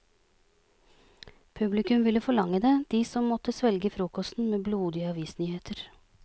Publikum ville forlange det, de som måtte svelge frokosten med blodige avisnyheter.